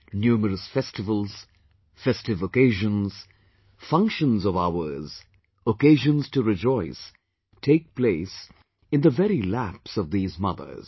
Numerous festivals, festive occasions, functions of ours, occasions to rejoice take place in the very laps of these mothers